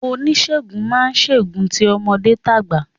Onígerun màá n gerun ti ọmọdé tàgbà